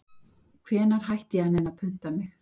Hvenær hætti ég að nenna að punta mig